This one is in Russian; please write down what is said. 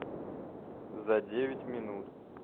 за девять минут